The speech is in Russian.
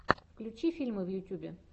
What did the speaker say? включи фильмы в ютюбе